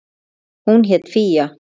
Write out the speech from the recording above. Hún hét Fía.